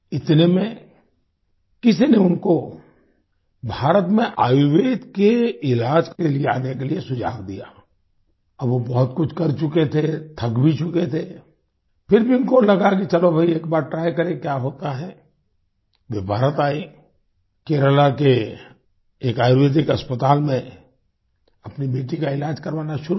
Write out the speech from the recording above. इतने में किसी ने उनको भारत में आयुर्वेद के इलाज़ के लिए आने के लिए सुझाव दिया और वो बहुत कुछ कर चुके थे थक भी चुके थे फिर भी उनको लगा कि चलो भई एक बार ट्राय करें क्या होता है वे भारत आये केरला के एक आयुर्वेदिक अस्पताल में अपनी बेटी का इलाज करवाना शुरू किया